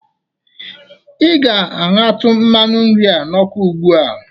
Ị ga-aṅatụ mmanụ nri a n'ọkụ ugbu a.